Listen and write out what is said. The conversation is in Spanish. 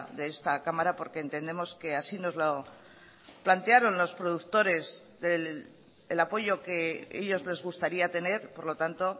de esta cámara porque entendemos que así nos lo plantearon los productores el apoyo que ellos les gustaría tener por lo tanto